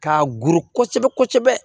Ka goro kosɛbɛ kosɛbɛ